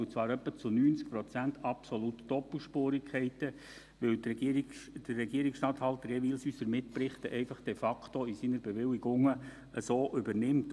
Zu 90 Prozent arbeiten wir absolut doppelspurig, weil der Regierungsstatthalter unsere Mitberichte de facto unverändert übernimmt.